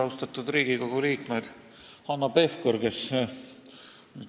Austatud Riigikogu liikmed!